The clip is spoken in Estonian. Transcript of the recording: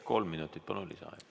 Kolm minutit lisaaega, palun!